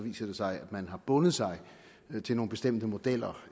viser det sig at man har bundet sig til nogle bestemte modeller